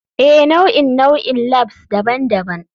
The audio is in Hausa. Ee, nau'in nau'in labs daban-daban.